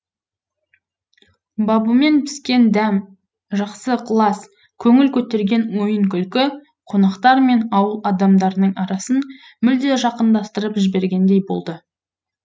бабымен піскен дәм жақсы ықылас көңіл көтерген ойын күлкі қонақтар мен ауыл адамдарының арасын мүлде жақындастырып жібергендей болды